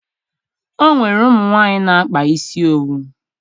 O nwere ụmụ nwaanyị na-akpa isi owu